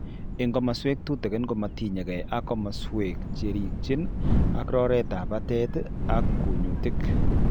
Eng' kasarwek tutikin komatinyegei ak komaswek cherikchin ak rotetab batet ak kunyutik